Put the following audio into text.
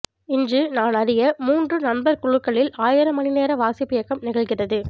இன்று நான் அறிய மூன்று நண்பர்குழுக்களில் ஆயிரம் மணிநேர வாசிப்பியக்கம் நிகழ்கிறது